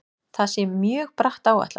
Það sé mjög bratt áætlað.